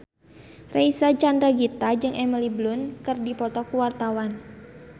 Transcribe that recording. Reysa Chandragitta jeung Emily Blunt keur dipoto ku wartawan